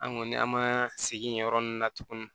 An kɔni an ma segin yen yɔrɔ nunnu na tuguni